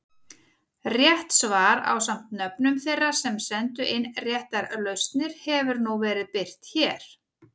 Rétt svar ásamt nöfnum þeirra sem sendu inn réttar lausnir hefur nú verið birt hér.